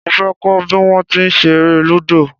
Mo fẹ́ kọ́ bí wón ti ń ṣe eré Lúdò.